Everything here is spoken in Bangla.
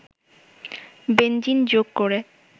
বেনজিন যোগ করে